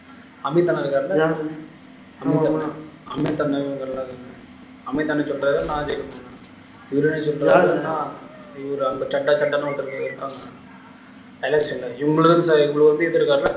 அமித் அண்ணா இருக்காருல்ல யாரு அமித் அண்ணன் சொல்றாரு நான் ஜெயிக்க போறேன் இவர் என்ன சொல்றாரு இவரு அங்க சட்டை சட்டைன்னு ஒருத்தரு இருக்காங்க election ல இவங்களுக்குதான் இவரு வந்து இது இருக்காருன்னா